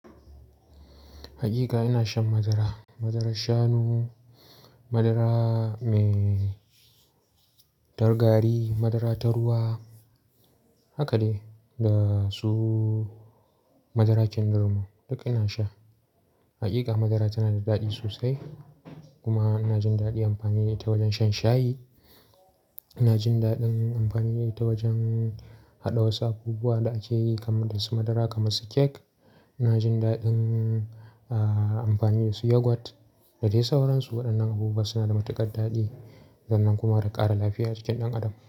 Hakika ina shan madara. Madarar shanu, madara mai ta gari, madara ta ruwa, haka dai da su madara kindirmo duk ina sha. Hakika madara tana da daɗi sosai kuma ina jin daɗin amfani da ita wajen shan shayi. Ina jin daɗin amfani da ita wajen haɗa wasu abubuwa da ake yi kaman dasu madara kamar su kek. Ina jin daɗin, ah, amfani da su yoghurt. Da dai sauransu waɗannan abubuwa suna da matuƙar daɗi san nan kuma da ƙara lafiya a jikin ɗan adam.